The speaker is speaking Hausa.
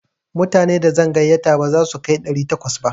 Mutane da zan gayyata ba za su kai ɗari takwas ba.